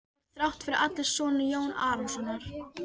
Þú ert þrátt fyrir allt sonur Jón Arasonar.